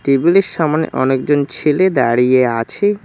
টেবিলের সামনে অনেকজন ছেলে দাঁড়িয়ে আছে।